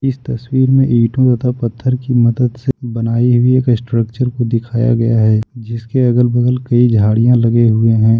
तस्वीर में ईटो तथा पत्थर की मदद से बनाई हुई एक स्ट्रक्चर को दिखाया गया है जिसके अगल बगल कई झाड़ियां लगे हुए हैं।